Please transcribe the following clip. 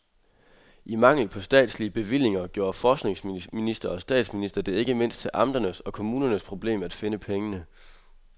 I mangel på statslige bevillinger gjorde forskningsminister og statsminister det ikke mindst til amternes og kommunernes problem at finde pengene.